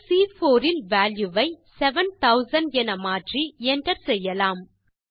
செல் சி4 இல் வால்யூ வை 7000 என மாற்றி Enter செய்யலாம்